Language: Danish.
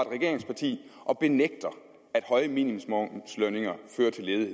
regeringsparti og benægter at høje minimumslønninger fører til ledighed